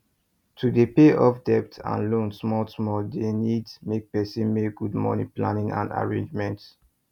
to dey pay off debt and loan small small dey need make person make good money planning and arrangement